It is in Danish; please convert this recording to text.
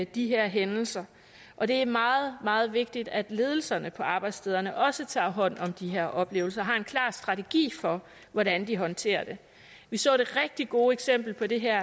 de her hændelser og det er meget meget vigtigt at ledelserne på arbejdsstederne også tager hånd om de her oplevelser og har en klar strategi for hvordan de håndterer det vi så det rigtig gode eksempel på det her